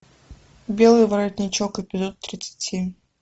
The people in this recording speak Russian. белый воротничок эпизод тридцать семь